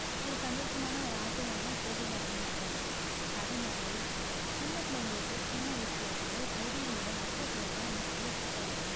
ஒரு சந்தோஷமான ஒரு ஆசையான செய்தி வரணுமெண்டுதான். அதுமாதிரி சின்ன பிள்ளைங்களுக்கு சின்ன வயசிலிருந்தே செய்திகளோடு முக்கியத்துவத்தை நம்ம சொல்லி குடுத்து வளக்கணும்.